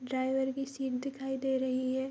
Driver की seat दिखाई दे रही है।